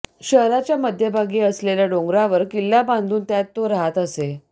शहराच्या मध्यभागी असलेल्या डोंगरावर किल्ला बांधून त्यात तो राहत असे